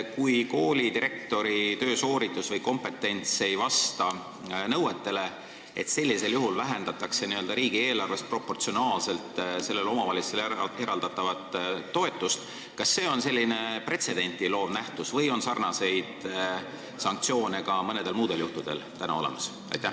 Kui koolidirektori töösooritus või kompetents ei vasta nõetele ja sellisel juhul vähendatakse riigieelarvest sellele omavalitsusele eraldatavat toetust, siis kas see on pretsedenti loov regulatsioon või on sarnaseid sanktsioone ka mõnel muul juhul juba kehtestatud?